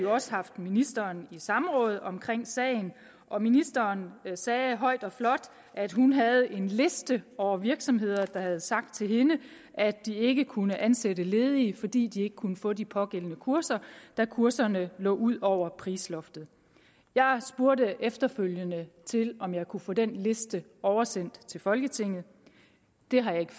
også haft ministeren i samråd om sagen og ministeren sagde højt og flot at hun havde en liste over virksomheder der havde sagt til hende at de ikke kunne ansætte ledige fordi de ikke kunne få de pågældende kurser da kurserne lå ud over prisloftet jeg spurgte efterfølgende til om jeg kunne få den liste oversendt til folketinget det har jeg ikke